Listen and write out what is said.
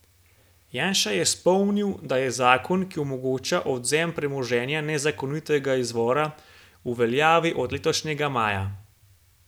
Janša je spomnil, da je zakon, ki omogoča odvzem premoženja nezakonitega izvora, v veljavi od letošnjega maja.